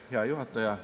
Hea juhataja!